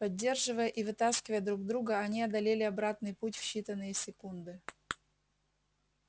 поддерживая и вытаскивая друг друга они одолели обратный путь в считанные секунды